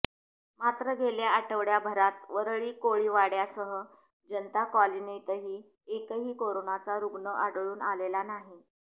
मात्र गेल्या आठवडाभरात वरळी कोळीवाड्यासह जनता कॉलनीतही एकही कोरोनाचा रुग्ण आढळून आलेला नाही